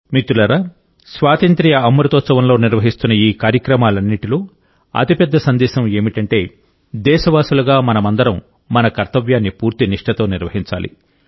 మిత్రులారాస్వాతంత్ర్య అమృతోత్సవంలో నిర్వహిస్తోన్న ఈ కార్యక్రమాలన్నింటిలో అతిపెద్ద సందేశం ఏమిటంటే దేశవాసులుగా మనమందరందరం మన కర్తవ్యాన్ని పూర్తి నిష్ఠతో నిర్వహించాలి